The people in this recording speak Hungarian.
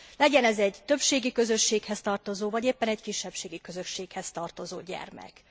Legyen ez egy többségi közösséghez tartozó, vagy éppen egy kisebbségi közösséghez tartozó gyermek.